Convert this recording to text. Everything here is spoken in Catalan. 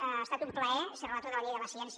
ha estat un plaer ser relator de la llei de la ciència